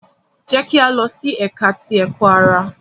Jẹ ki a lọ si Ẹka ti Ẹkọ-ara!